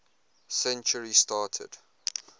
century started